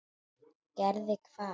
Gerði hvað?